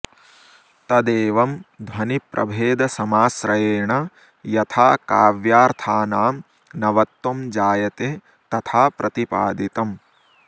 तदेवं ध्वनिप्रभेदसमाश्रयेण यथा काव्यार्थानां नवत्वं जायते तथा प्रतिपादितम्